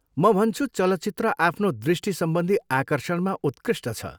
म भन्छु चलचित्र आफ्नो दृष्टिसम्बन्धी आकर्षणमा उत्कृष्ट छ।